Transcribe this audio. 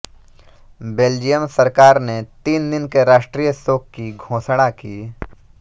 Belgium सरकार ने तीन दिन के राष्ट्रीय शोक की घोषणा की